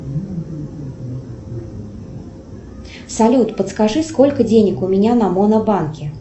салют подскажи сколько денег у меня на моно банке